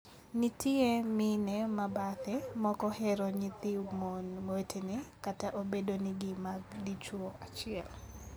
Nitie mine ma bathe ma ok ohero nyithi mon wetene kata obedo ni gin mag dichwo achiel.